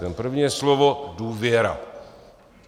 Ten první je slovo důvěra.